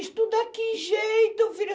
Estudar que jeito, filha?